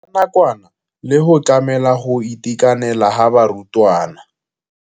Ya nakwana le go tlamela go itekanela ga barutwana.